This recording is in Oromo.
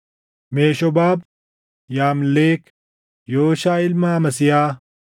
Meshoobaab, Yamleek, Yooshaa ilma Amasiyaa,